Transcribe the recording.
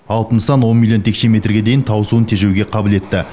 алып нысан он миллион текше метрге дейін тау суын тежеуге қабілетті